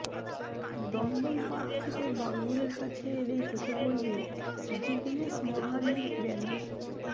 Dumdum park থেকে বাঙ্গুরের কাছে এলেই চোখে পড়বে জিগনেশ মোভানির ব্যানার